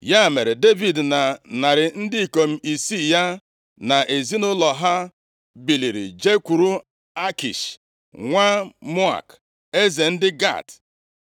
Ya mere, Devid na narị ndị ikom isii ya, na ezinaụlọ ha, biliri jekwuru Akish nwa Maok, eze ndị Gat.